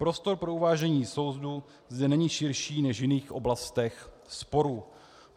Prostor pro uvážení soudu zde není širší než v jiných oblastech sporu.